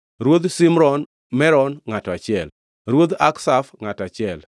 Ruodh Shimron Meron, ngʼato achiel, Ruodh Akshaf, ngʼato achiel,